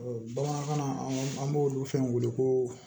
bamanankan na an b'olu fɛn wele ko